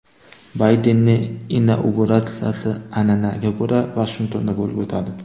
Baydenning inauguratsiyasi an’anaga ko‘ra Vashingtonda bo‘lib o‘tadi.